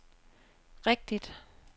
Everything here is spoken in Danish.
rigtigt